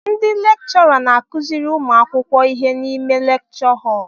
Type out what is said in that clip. Ndị lekchọra n'akụziri ụmụ akwụkwọ ihe n'ime lekchọ họl